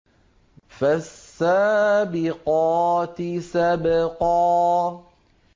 فَالسَّابِقَاتِ سَبْقًا